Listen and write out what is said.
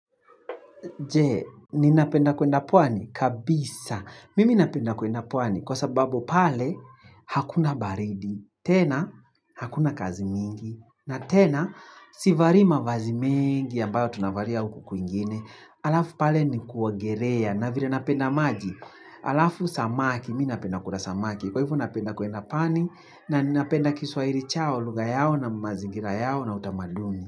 Je? Ninapenda kwenda pwani? Kabisa. Mimi napenda kwenda pwani. Kwa sababu pale, hakuna baridi. Tena, hakuna kazi mingi. Na tena, sivai mavazi mengi, ambayo tunavalia huku kwingine. Alafu pale ni kuogelea. Na vile napenda maji. Alafu samaki. Mimi napenda kula samaki. Kwa hivyo napenda kwenda pwani, na ninapenda kiswahili chao, lugha yao, na mazingira yao, na utamaduni.